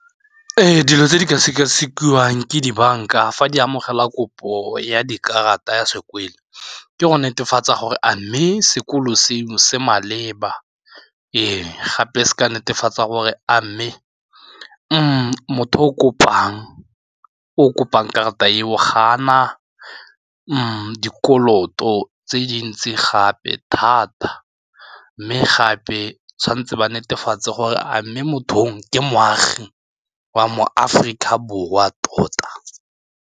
Ee, dilo tse di ka sekasekiwang ke dibanka fa di amogela kopo ya dikarata ya sekwele ke go netefatsa gore a mme sekolo seno se maleba eo gape se ka netefatsa gore a mme motho o kopang o kopang karata eo ga a na dikoloto tse dintsi gape thata mme gape tshwanetse ba netefatse gore a mme mothong ke moagi wa mo Aforika Borwa tota.